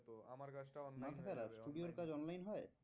কাজটা online হয়ে যাবে। মাথা খারাপ studio র কাজ online হয়?